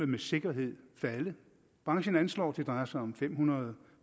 med sikkerhed vil falde branchen anslår at det drejer sig om fem hundrede